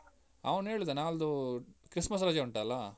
ಅವ್ನು ಹೇಳಿದ ನಾಳ್ದು ಅಹ್ christmas ರಜೆ ಉಂಟಲ್ಲ?